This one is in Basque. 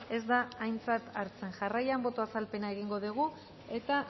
ez da aintzat hartzen jarraian boto azalpena egingo dugu eta